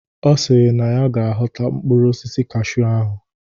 Ọ sịrị na ya ga aghọta mkpụrụ osisi cashew ahụ.